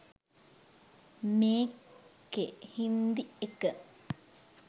මේකෙ හින්දි එක